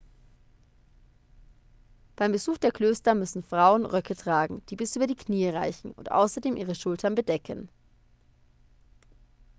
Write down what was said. beim besuch der klöster müssen frauen röcke tragen die bis über die knie reichen und außerdem ihre schultern bedecken